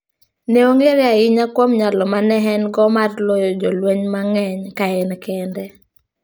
Ne ong'ere ahinya kuom nyalo ma ne en go mar loyo jolweny mang'eny ka en kende.